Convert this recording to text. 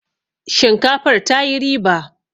shinkafar ta yi riba!